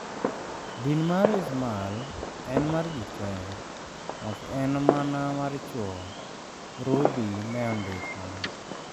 Din mar Ismal en mar ji te, ok en mana mar chuwo, Rudhi ne ondiko